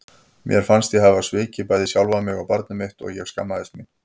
Mér fannst ég hafa svikið bæði sjálfa mig og barnið mitt og ég skammaðist mín.